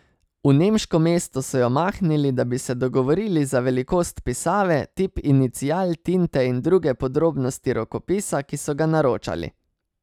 V nemško mesto so jo mahnili, da bi se dogovorili za velikost pisave, tip inicial, tinte in druge podrobnosti rokopisa, ki so ga naročali.